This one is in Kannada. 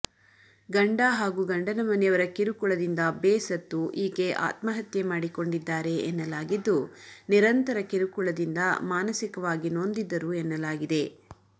ಗಂಡ ಹಾಗೂ ಗಂಡನ ಮನೆಯವರ ಕಿರುಕುಳದಿಂದ ಬೇಸತ್ತು ಈಕೆ ಆತ್ಮಹತ್ಯೆ ಮಾಡಿಕೊಂಡಿದ್ದಾರೆ ಎನ್ನಲಾಗಿದ್ದು ನಿರಂತರ ಕಿರುಕುಳದಿಂದ ಮಾನಸಿಕವಾಗಿ ನೊಂದಿದ್ದರು ಎನ್ನಲಾಗಿದೆ